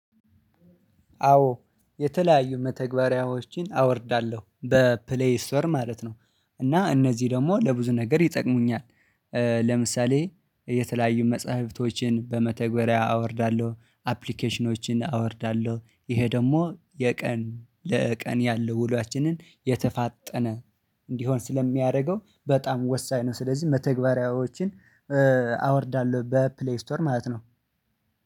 አዎ የተለያዩ መተግበሪያዎችን አወርዳለሁ በፕሌይ ስቶር ማለት ነው። እና እነዚህ ደግሞ ለብዙ ነገር ይጠቅሙኛል። ለምሳሌ የተለያዩ መጽሐፍቶችን በመተግበሪያ አወርዳለሁ አፕሊኬሽኖችን አወርዳለሁ ይሄ ደግሞ የቀን ለቀን ያለው ውሏችንን የተፋጠነ እንዲሆን ስለሚያደርገው በጣም ወሳኝ ነው። ስለዚህ መተግበሪያዎችን አወርዳለሁ በፕሌይ ስቶር ማለት ነው።